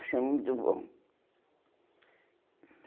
Achei muito bom.